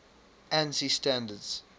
ansi standards